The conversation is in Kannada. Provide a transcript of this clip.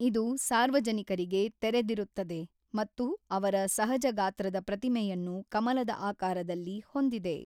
ಇದು ಸಾರ್ವಜನಿಕರಿಗೆ ತೆರೆದಿರುತ್ತದೆ ಮತ್ತು ಅವರ ಸಹಜಗಾತ್ರದ ಪ್ರತಿಮೆಯನ್ನು ಕಮಲದ ಆಕಾರದಲ್ಲಿ ಹೊಂದಿದೆ.